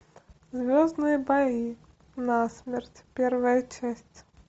звездные бои насмерть первая часть